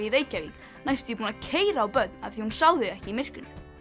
í Reykjavík næstum því búin að keyra á börn af því að hún sá þau ekki í myrkrinu